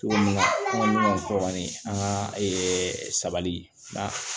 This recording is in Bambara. Cogo min na kuma min fɔ kɔni an ka sabali